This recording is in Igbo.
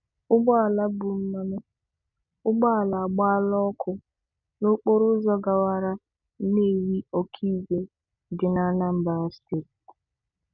Ụgbọala bu mmanụ ụgbọala agbala ọkụ n'okporoụzọ gawara Nnewi Okigwe dị n'Anambra Steeti.